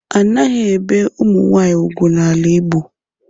Anaghi ebe umunwaanyi ùgwú ala igbo.